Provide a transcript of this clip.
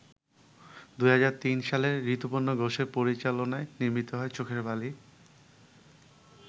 ২০০৩ সালে ঋতুপর্ণ ঘোষের পরিচালনায় নির্মিত হয় ‘চোখের বালি’।